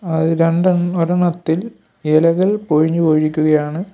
അത് രണ്ടെൺ ഒരെണ്ണത്തിൽ ഇലകൾ പൊഴിഞ്ഞു പോയിരിക്കുകയാണ്.